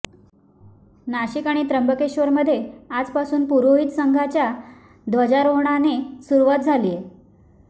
नाशिक आणि त्रंबकेश्वरमध्ये आजपासून पुरोहित संघाच्या ध्वजारोहाणाने सुरुवात झालीय